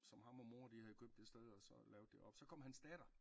Som ham og mor de havde købt det sted og så lavet det op så kom hans datter